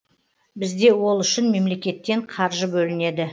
бізде ол үшін мемлекеттен қаржы бөлінеді